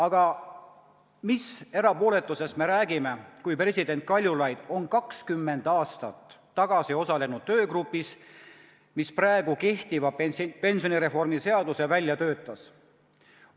Aga mis erapooletusest me räägime, kui president Kaljulaid on 20 aastat tagasi osalenud töögrupis, mis praeguse pensionireformi seaduse välja töötas?